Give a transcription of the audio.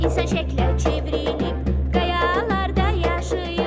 İnsan şəklə çevrilib, qayalarda yaşayıb.